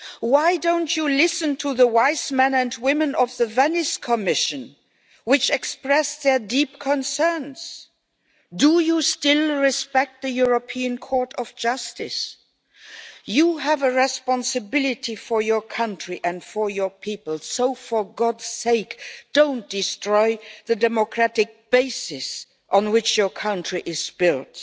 Why don't you listen to the wise men and women of the Venice Commission, who expressed their deep concerns? Do you still respect the European Court of Justice? You have a responsibility for your country and for your people so, for God's sake, don't destroy the democratic basis on which your country is built,